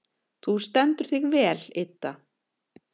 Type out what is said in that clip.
Þú stendur þig vel, Idda!